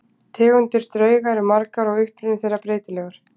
Tegundir drauga eru margar og uppruni þeirra breytilegur.